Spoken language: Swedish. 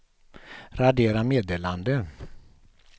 radera meddelande